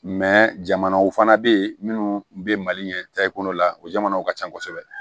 jamanaw fana bɛ yen minnu bɛ mali ɲɛ la u jamanaw ka ca kosɛbɛ